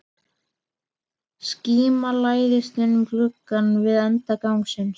Skíma læðist inn um glugga við enda gangsins.